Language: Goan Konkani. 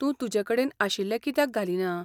तूं तुजे कडेन आशिल्ले कित्याक घालिना?